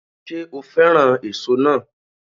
Ṣé o féràn èso náà